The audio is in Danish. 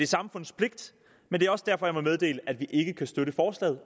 samfundets pligt men det er også derfor at jeg må meddele at vi ikke kan støtte forslaget